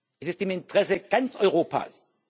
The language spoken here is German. Es ist im Interesse ganz Europas.